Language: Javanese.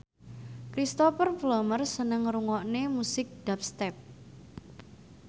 Cristhoper Plumer seneng ngrungokne musik dubstep